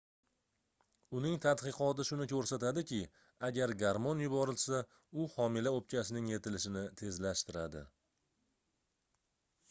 uning tadqiqoti shuni koʻrsatdiki agar garmon yuborilsa u homila oʻpkasining yetilishini tezlashtiradi